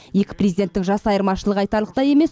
екі президенттің жас айырмашылығы айтарлықтай емес